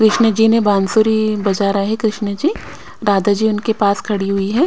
कृष्ण जी ने बांसुरी बजा रहे कृष्ण जी राधा जी उनके पास खड़ी हुई है।